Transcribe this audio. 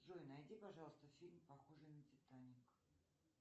джой найди пожалуйста фильм похожий на титаник